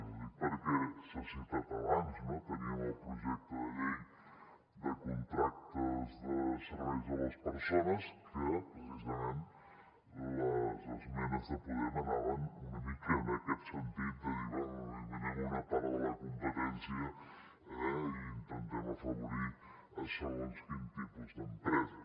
ho dic perquè s’ha citat abans no teníem el projecte de llei de contractes de serveis a les persones que precisament les esmenes de podem anaven una mica en aquest sentit de dir bé eliminem una part de la competència i intentem afavorir segons quin tipus d’empreses